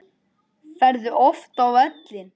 Ferðu oft á völlinn?